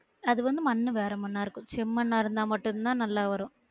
அது வந்து மண்ணு வேற மண்ணா இருக்கும் செம்மண்ணா இருந்தா மட்டும் தான் நல்லா வரும்